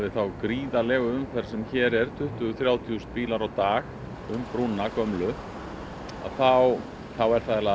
þá gríðarlegu umferð sem hér er tuttugu þúsund til þrjátíu þúsund bílar á dag um brúna gömlu þá er það